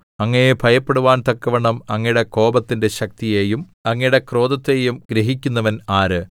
അങ്ങയെ ഭയപ്പെടുവാൻ തക്കവണ്ണം അങ്ങയുടെ കോപത്തിന്റെ ശക്തിയെയും അങ്ങയുടെ ക്രോധത്തെയും ഗ്രഹിക്കുന്നവൻ ആര്